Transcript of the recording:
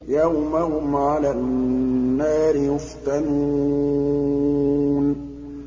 يَوْمَ هُمْ عَلَى النَّارِ يُفْتَنُونَ